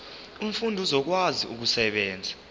umfundi uzokwazi ukusebenzisa